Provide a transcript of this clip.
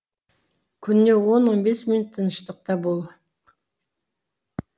күніне он он бес минут тыныштықта бол